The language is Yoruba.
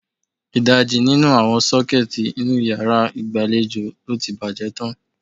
Ìdajì nínú àwọn sọ́kẹ́ẹ́tì inú yàrá ìgbàlejò lo ti bàjẹ́ tán.